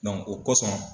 o kosɔn